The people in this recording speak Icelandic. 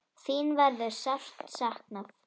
Þín verður sárt saknað.